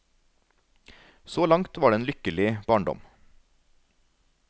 Så langt var det en lykkelig barndom.